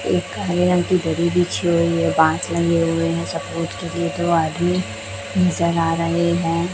एक हरे रंग की दरी बिछी हुई है बांस लगे हुए हैं सपोर्ट के लिए दो आदमी नजर आ रहे हैं।